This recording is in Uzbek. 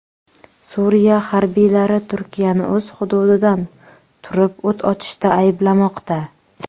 Suriya harbiylari Turkiyani o‘z hududidan turib o‘t ochishda ayblamoqda.